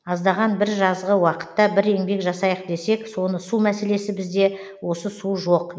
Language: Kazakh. аздаған бір жазғы уақытта бір еңбек жасайық десек соны су мәселесі бізде осы су жоқ